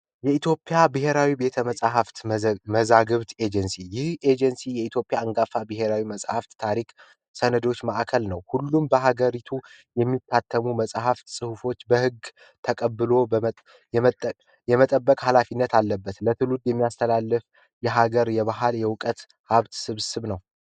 የኢትዮጵያ ብሔራዊ ቤተመፃፍትና መዛግብት ኤጀንሲ ይህ ኤጀንሲ የኢትዮጵያ ብሔራዊ መጽሃፍ ታሪክ ሰነዶች ማዕከል ነው ሁሉም በሀገሪቱ የሚታተሙ መጽሃፍት ጽሁፎች በህግ ተቀብሎ የመጠበቅ ኃላፊነት አለበት የሀገር የባህል የዕውቀት ስብስብ ነው።